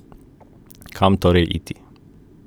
Kam torej iti?